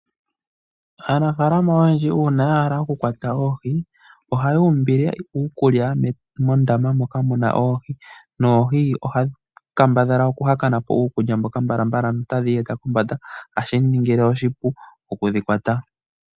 Aanafalama oyendji uuna ya hala okukwata oohi, ohayu umbile uukulya mondama moka muna oohi noohi ohadhi kambadhala okuhakana po uukulya mboka mbalala no tadhi iyeta kombanda hashi ningile oshipu okudhikwata.